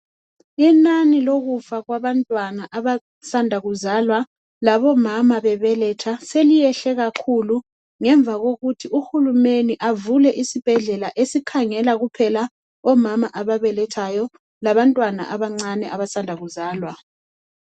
Inani lokufa kwabantwana abasanda kuzalwa labomama bebeletha seliyehle kakhulu ngemva kokuthi uhulumeni avule isibhedlela esikhangela kuphela omama ababelethwayo labantwana abancane abasanda kuzalwa.